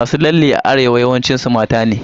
Masu lalle a Arewa yawancin su mata ne.